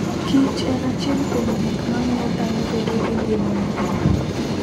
kich en achiel kuom gik mamiyo dhano bedo gi ngima maber.